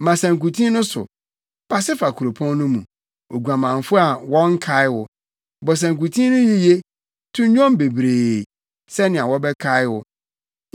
“Ma sankuten no so, pase fa kuropɔn no mu, oguamanfo a wɔnnkae wo; bɔ sankuten no yiye, to nnwom bebree, sɛnea wɔbɛkae wo.”